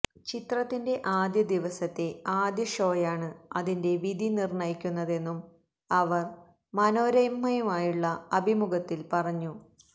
ചിത്രത്തിന്റെ ആദ്യദിവസത്തെ ആദ്യ ഷോയാണ് അതിന്റെ വിധി നിര്ണ്ണയിക്കുന്നതെന്നും അവര് മനോരമയുമായുള്ള അഭിമുഖത്തില് പറഞ്ഞു